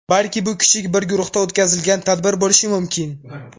Balki bu kichik bir guruhda o‘tkazilgan tadbir bo‘lishi mumkin.